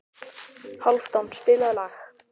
Hálfdán, spilaðu lag.